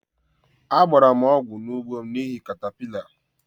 Agbara' m ugbo ọgwụ n' ugbo m n'ihi catapillar